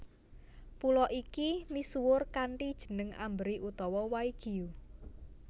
Pulo iki misuwur kanthi jeneng Amberi utawa Waigiu